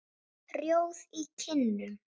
Rjóð í kinnum.